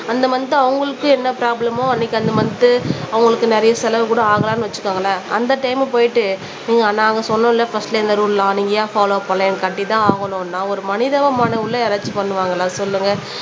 அந்த மந்த் அவங்களுக்கு என்ன ப்ரோப்லமோ அன்னைக்கு அந்த மந்த் அவங்களுக்கு நிறைய செலவு கூட ஆகலான்னு வச்சுக்கோங்களேன் அந்த டைம் போயிட்டு நீங்க நாங்க சொன்னோம்ல பர்ஸ்ட்ல இந்த ரூல்லாம் நீங்க ஏன் பாலோவ் பண்ணலைன்னு கட்டிதான் ஆகணும்ன்னா ஒரு மனிதாபிமானம் உள்ள யாராச்சும் பண்ணுவாங்களா சொல்லுங்க